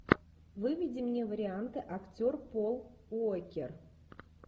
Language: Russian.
выведи мне варианты актер пол уокер